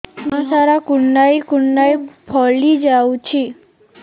ଦେହ ସାରା କୁଣ୍ଡାଇ କୁଣ୍ଡାଇ ଫଳି ଯାଉଛି